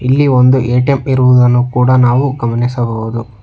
ಇಲ್ಲಿ ಒಂದು ಎ_ಟಿ_ಎಮ್ ಇರುವುದನ್ನು ಕೂಡ ನಾವು ಗಮನಿಸಬುಹುದು.